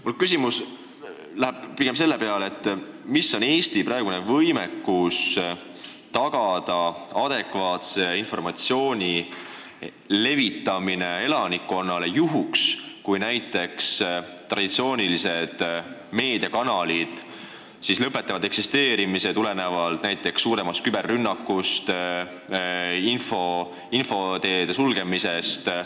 Mu küsimus on rihitud pigem sellele, milline on meie praegune võimekus tagada adekvaatse informatsiooni levitamine elanikkonnale, juhuks kui traditsioonilised meediakanalid lõpetavad eksisteerimise tulenevalt näiteks suuremast küberrünnakust, infoteede sulgemisest?